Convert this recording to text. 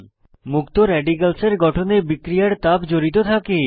মুক্ত রেডিক্যালসের গঠনে বিক্রিয়ার তাপ জড়িত থাকে